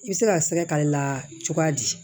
I bɛ se ka sɛgɛ k'ale la cogoya di